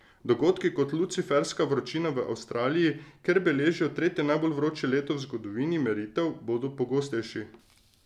Dogodki kot luciferska vročina v Avstraliji, kjer beležijo tretje najbolj vroče leto v zgodovini meritev, bodo pogostejši.